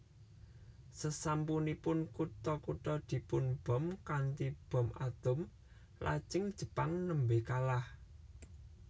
Sasampunipun kutha kutha dipunbom kanthi bom atom lajeng Jepang nembe kalah